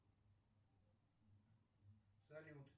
салют